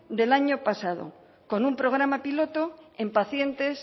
del año pasado con un programa piloto en pacientes